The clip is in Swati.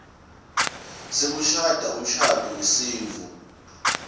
sekushada umshado wesintfu